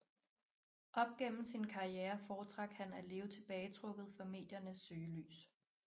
Op gennem sin karriere foretrak han at leve tilbagetrukket fra mediernes søgelys